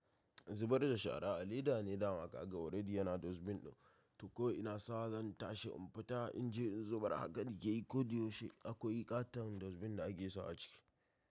Zubar da shara a leda ne dama ka ga already yana dazbin ɗin. To ko ina sa zan tashi in fita in je in zubar haka nake yi ko da yaushe akwai ƙaton dazbin da ake sawa a ciki.